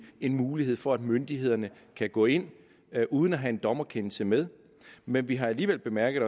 en mulighed for at myndighederne kan gå ind uden at have en dommerkendelse med men vi har alligevel bemærket